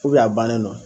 a bannen don